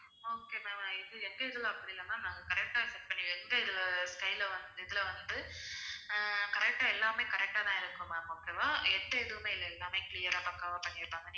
okay ma'am இது எங்க இதுல அப்படி இல்ல ma'am நாங்க correct ஆ set பண்ணி எந்த இதுல style ல்ல இதுல வந்து ஹம் correct ஆ எல்லாமே correct ஆ தான் இருக்கும் ma'am okay வா எந்த எதுவுமே இல்ல எல்லாமே clear ஆ பக்காவா பண்ணிருப்பாங்க